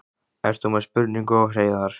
Ert þú með spurningu á Hreiðar?